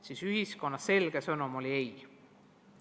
Siis oli ühiskonna selge sõnum "ei".